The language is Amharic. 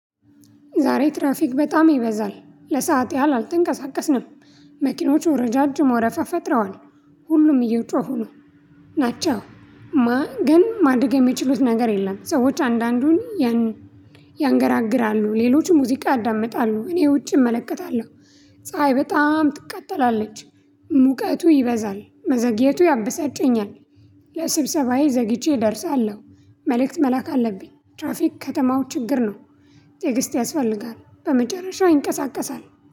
ዛሬ ትራፊክ በጣም ይበዛል ለሰአት ያህል አልተንቀሳቀስንም። መኪኖቹ ረዣዥም ወረፋ ፈጥረዋል ሁሉም እየጮሁ ነው ናቸው። ግን ማድረግ የሚችሉት ነገር የለም። ሰዎች አንዳንዱን ያንገራግራሉ ሌሎችም ሙዚቃ ያዳምጣሉ እኔ ውጪ እመለከታለሁ። ፀሀይ በጣም ትቃጠላለች። ሙቀቱ ይበዛል መዘግየቱ ያበሳጨኛል። ለስብሰባዬ ዘግይቼ እደርሳለሁ መልእክት መላክ አለብኝ። ትራፊክ ከተማው ችግር ነው። ትዕግስት ያስፈልጋል በመጨረሻ ይንቀሳቀሳል